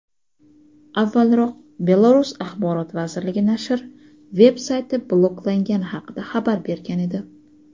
Avvalroq Belarus Axborot vazirligi nashr veb-sayti bloklangani haqida xabar bergan edi.